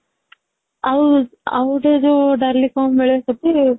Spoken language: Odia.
ଆଉ ,ଆଉ ଗୋଟେ ଯୋଉ ଡାଲି କଣ ମିଳେ ସେଠି